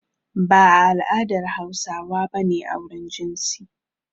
Ba a al'adar Hausawa ba ne auren jinsi.